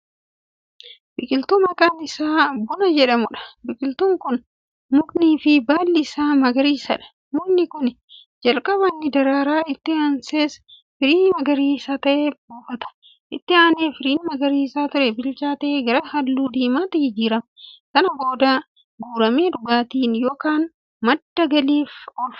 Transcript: Biqiltuu maqaan Isaa 'Buna' jedhamuudha. biqiltuun Kun mukniifi baalli Isaa magariisadha. mukni Kuni jalqaba ni daraara, itti aansees firii magariisa ta'e buufata, itti aanee firiin magariisa ture bilchaatee gara halluu diimaatti jijjiirrama. san booda guuramee dhugaatiin yookaan madda galiif oolfama.